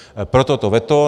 Proto to veto.